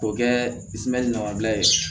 K'o kɛ damabila ye